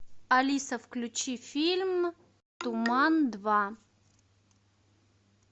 алиса включи фильм туман два